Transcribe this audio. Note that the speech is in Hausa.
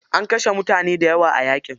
An kashe mutane daya a yaƙi.